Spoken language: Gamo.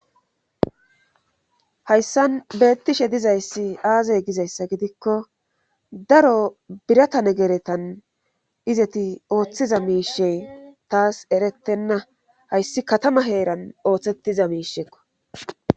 hayssan beettishe dizayssi aazey gizayssa gidikko daro biratane geretan izeti ooththiza miishe taas erettenna hayssi katama heeran ooththettiza miisheekko